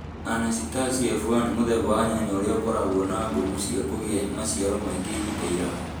Anacitacia F1 nĩ mũthemba wa nyanya ũrĩa ũkoragwo na ngumo cia kũgĩa maciaro maingĩ ihinda iraya